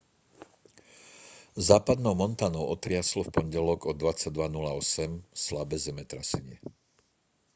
západnou montanou otriaslo v pondelok o 22:08 slabé zemetrasenie